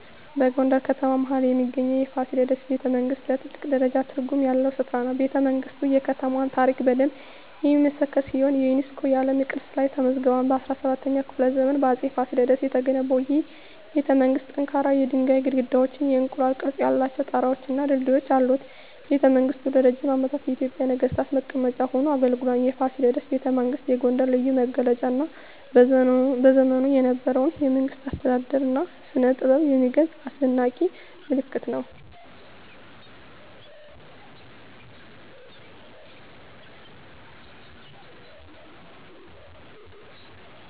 በጎንደር ከተማ መሀል ላይ የሚገኘው የፋሲለደስ ቤተመንግሥት ለኔ ትልቅ ትርጉም ያለው ስፍራ ነው። ቤተመንግስቱ የከተማዋን ታሪክ በደንብ የሚመሰክር ሲሆን የዩኔስኮ የዓለም ቅርስ ላይም ተመዝግቧል። በ17ኛው ክፍለ ዘመን በአፄ ፋሲለደስ የተገነባው ይህ ቤተመንግሥት ጠንካራ የድንጋይ ግድግዳዎች፣ የእንቁላል ቅርፅ ያላቸው ጣራወች እና ድልድዮች አሉት። ቤተመንግሥቱ ለረጅም ዓመታት የኢትዮጵያ ነገሥታት መቀመጫ ሆኖ አገልግሏል። የፋሲለደስ ቤተመንግሥት የጎንደርን ልዩ መገለጫ እና በዘመኑ የነበረውን የመንግሥት አስተዳደር እና ስነጥበብ የሚገልጽ አስደናቂ ምልክት ነው።